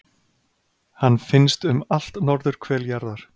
hann finnst um allt norðurhvel jarðar